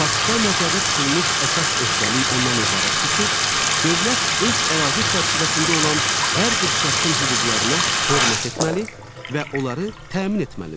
Paktda nəzərdə tutulmuş əsas öhdəlik ondan ibarətdir ki, dövlət öz ərazi çərçivəsində olan hər bir şəxsin hüquqlarına hörmət etməli və onları təmin etməlidir.